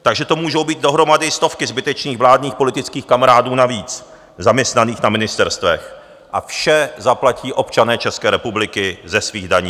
Takže to můžou být dohromady stovky zbytečných vládních politických kamarádů navíc zaměstnaných na ministerstvech a vše zaplatí občané České republiky ze svých daní.